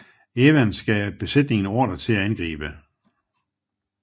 Evans gav besætningen ordre til at angribe